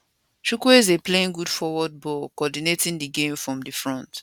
chkwueze playing good forward ball coordinating di game from di front